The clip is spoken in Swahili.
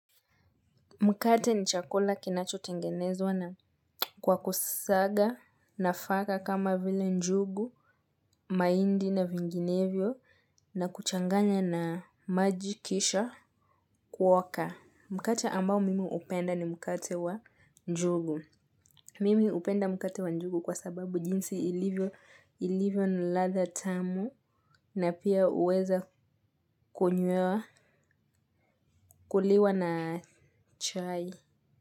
Mkate ni chakula kinachotengenezwa na kwa kusaga nafaka kama vile njugu, mahindi na vinginevyo na kuchanganya na maji kisha kuoka. Mkate ambao mimi hupenda ni mkate wa njugu. Mimi hupenda mkate wa njugu kwa sababu jinsi ilivyo na ladha tamu na pia huweza kunywewa kuliwa na chai.